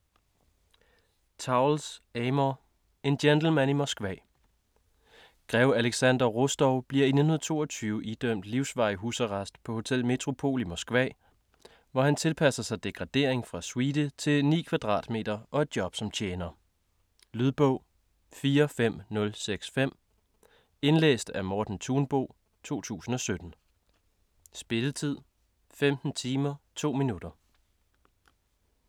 Towles, Amor: En gentleman i Moskva Grev Alexander Rostov bliver i 1922 idømt livsvarig husarrest på Hotel Metropol i Moskva, hvor han tilpasser sig degradering fra suite til 9 kvadratmeter og et job som tjener. Lydbog 45065 Indlæst af Morten Thunbo, 2017. Spilletid: 15 timer, 2 minutter.